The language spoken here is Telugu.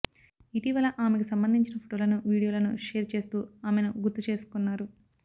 ఇటీవల ఆమెకు సంబంధించిన ఫోటోలను వీడియోలను షేర్ చేస్తూ ఆమెను గుర్తు చేసుకున్నారు